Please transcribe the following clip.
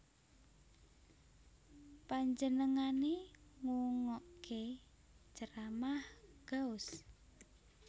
Panjenengané ngungokké ceramah Gauss